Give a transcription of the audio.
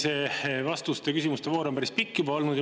Siin see vastuste ja küsimuste voor on päris pikk juba olnud.